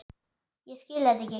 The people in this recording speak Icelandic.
Ég skil þetta ekki!